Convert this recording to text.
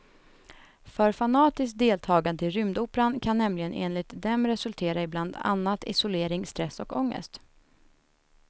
För fanatiskt deltagande i rymdoperan kan nämligen enligt dem resultera i bland annat isolering, stress och ångest.